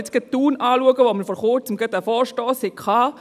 Wenn ich mir Thun anschaue, wo wir vor Kurzem einen Vorstoss hatten: